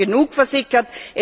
Da ist schon genug versickert.